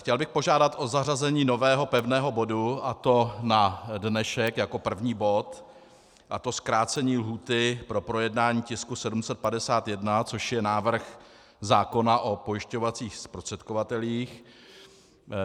Chtěl bych požádat o zařazení nového pevného bodu, a to na dnešek jako první bod, a to zkrácení lhůty pro projednání tisku 751, což je návrh zákona o pojišťovacích zprostředkovatelích.